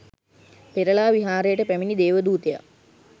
පෙරළා විහාරයට පැමිණි දේවදූතයා